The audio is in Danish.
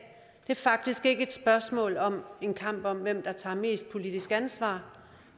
er faktisk ikke et spørgsmål om en kamp om hvem der tager mest politisk ansvar